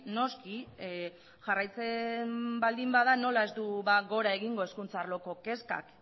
noski jarraitzen baldin bada nola ez du gora egingo hezkuntza arloko kezkak